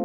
g